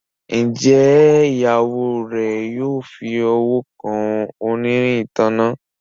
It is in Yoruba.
Njé Ìyàwó rẹ yóò fí ọwọ kàn onírin ìtanná?